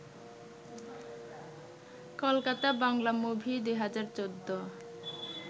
Kolkata Bangla movie ২০১৪